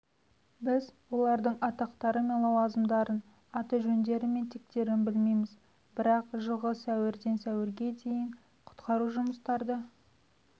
біз олардың атақтары мен лауазымдарын аты-жөндері мен тектерін білмейміз бірақ жылғы сәуірден сәуірге дейін құтқару жұмыстарды